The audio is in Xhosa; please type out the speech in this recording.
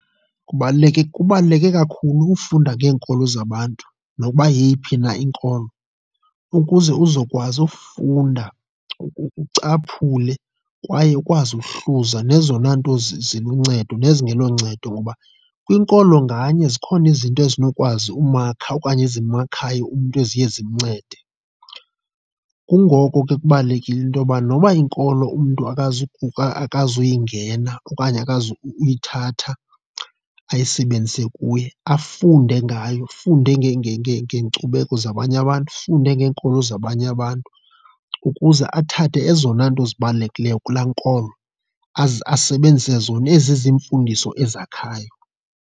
Kubaluleke, kubaluleke kakhulu ufunda ngeenkolo zabantu nokuba yeyiphi na inkolo ukuze uzokwazi ufunda ucaphule kwaye ukwazi ukuhluza, zezona nto ziluncedo nezingeloncedo ngoba kwinkolo nganye zikhona izinto ezinokwazi umakha okanye ezimakhayo umntu eziye zimncede. Kungoko ke kubalulekile into yoba noba inkolo umntu akazuyingena okanye akazukuyithatha ayisebenzise kuye, afunde ngayo afunde ngeenkcubeko zabanye abantu, afunde ngeenkolo zabanye abantu ukuze athathe ezona nto zibalulekileyo kulaa nkolo, aze asebenzise zona ezizimfundiso ezakhayo.